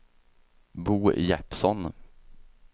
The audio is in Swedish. Bo Jeppsson